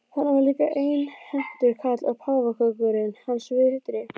Þarna var líka einhentur karl og páfagaukurinn hans vitri.